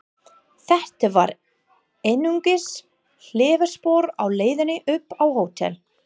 Þetta var einungis hliðarspor á leiðinni upp á hótel.